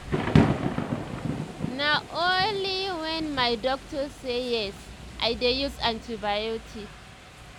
na only whenmy doctor say yes i dey use antibiotic